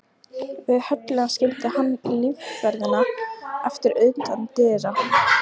Við höllina skildi hann lífverðina eftir utan dyra.